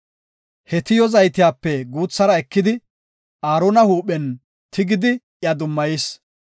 He tiyo zaytiyape guuthara ekidi Aarona huuphen tigidi iya dummayis.